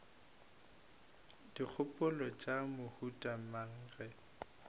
dikgopolo tša mohuta mang ge